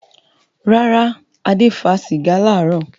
Rárá, Adé fa sìgá láàárọ̀.